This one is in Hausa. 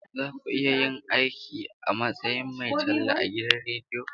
Za ku iya yin aiki a matsayin mai talla a gidan rediyo?